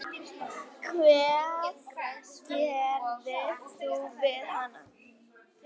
Hvað gerðir þú við hana?